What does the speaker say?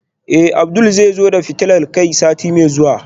Eh Abdul zai zo da fitilar kai sati mai zuwa